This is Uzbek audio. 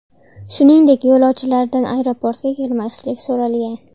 Shuningdek, yo‘lovchilardan aeroportga kelmaslik so‘ralgan.